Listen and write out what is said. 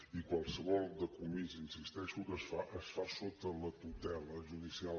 i qualsevol decomís hi insisteixo que es fa es fa sota la tutela judicial